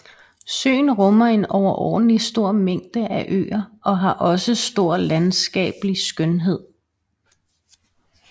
Søen rummer en overordentlig stor mængde af øer og har også stor landskabelig skønhed